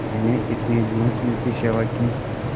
मैंने इतने दिनों इनकी सेवा की